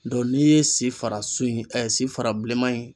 Dɔ n'i ye si farasu in si fara bilenman in